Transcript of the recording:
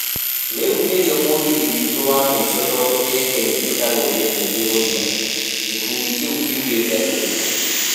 "Rĩu nĩrĩo mũgithi witũ wa mũico tondũ mĩeke iitũ ta rũrĩrĩ nĩ ĩgũthira", gĩkundi kĩu kiugĩte ũguo